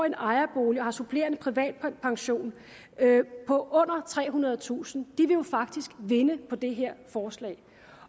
en ejerbolig og har supplerende privatpension på under trehundredetusind kr jo faktisk vinde med det her forslag